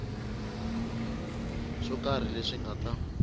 swo karhi leswi nga ta